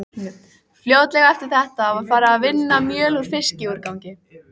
Fljótlega eftir þetta var farið að vinna mjöl úr fiskúrgangi.